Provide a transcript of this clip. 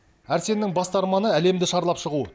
әрсеннің басты арманы әлемді шарлап шығу